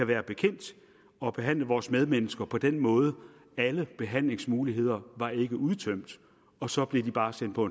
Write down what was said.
være bekendt at behandle vores medmennesker på den måde alle behandlingsmuligheder var ikke udtømt og så blev de bare sendt på